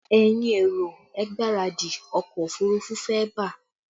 Ẹ̀yin èrò, ẹ gbáradì, ọkọ òfurufú fẹ́ bà!